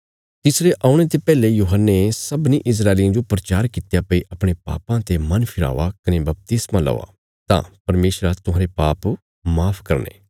तिसरे औणे ते पैहले यूहन्ने सबनीं इस्राएलियां जो प्रचार कित्या भई अपणे पापां ते मन फिरावा कने बपतिस्मा लौआ तां परमेशरा तुहांरे पाप माफ करने